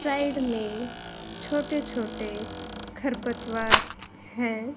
Side में छोटे छोटे खरपतवार है।